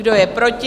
Kdo je proti?